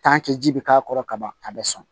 ji bɛ k'a kɔrɔ kaban a bɛ sɔn